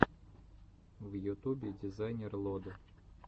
в ютубе дизайнер лод